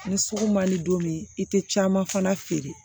Ni sugu ma di don min i tɛ caman fana feere